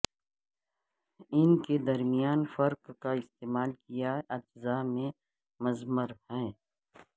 ان کے درمیان فرق کا استعمال کیا اجزاء میں مضمر ہے